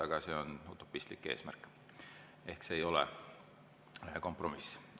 Aga see on utopistlik eesmärk ehk see ei ole kompromiss.